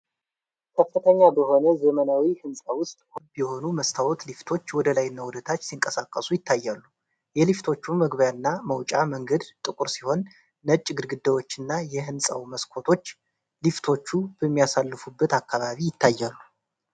ከፍተኛ በሆነ ዘመናዊ ህንፃ ውስጥ ሁለት ሞላላና ክብ የሆኑ መስታወት ሊፍቶች ወደላይና ወደታች ሲንቀሳቀሱ ይታያሉ። የሊፍቶቹ መግቢያ እና መውጫ መንገድ ጥቁር ሲሆን፣ ነጭ ግድግዳዎችና የህንፃው መስኮቶች ሊፍቶቹ በሚያልፉበት አካባቢ ይታያሉ።